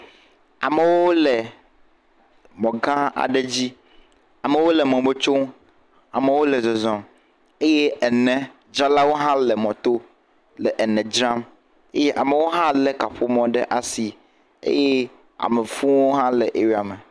Amewo le mɔ gã aɖe dzi, amewo le mɔ me tsom, amewo hã le zɔzɔzm eye enedzralawo hã le mɔto le ene dzram eye amewo hã lé kaƒomɔ le asi eye am fuwo hã wole eria me.